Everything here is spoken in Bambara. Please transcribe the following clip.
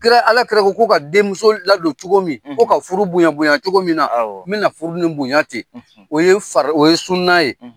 Kira, alakira k'u ka denmuso ladon cogo min? Ko ka furu bonya, bonya cogo min na, awɔ, me na furu ni bonya tɛ. O ye far , o ye sunna ye.